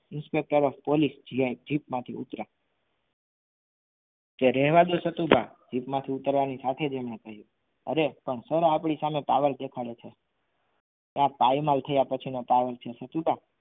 Inspetor of police PI jeep માંથી ઉતર્યા કે રહેવા દો સતુભા જીપમાંથી ઉતરવાની સાથે જ એમણે કહ્યું અરે સર પણ આપણી સામે power દેખાડે છે કે આ ભાઈ માલ થયા પછીનો power છે સતુભા